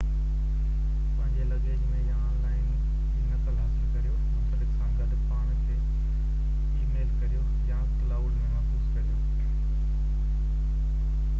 پنهنجي لگيج ۾ يا آن لائن ٻي نقل حاصل ڪريو منسلڪ سان گڏ پاڻ کي اي ميل ڪريو ، يا ڪلائوڊ ۾ محفوظ ڪريو.